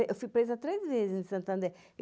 Eu fui presa três vezes em Santander.